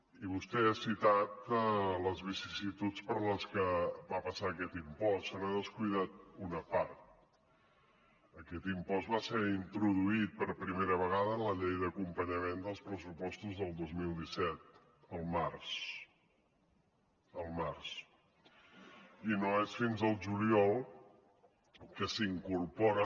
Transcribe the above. i vostè ha citat les vicissituds per les que va passar aquest impost se n’ha descuidat una part aquest impost va ser introduït per primera vegada en la llei d’acompanyament dels pressupostos del dos mil disset el març el març i no és fins al juliol que s’incorpora